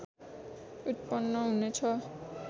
उत्पन्न हुने छ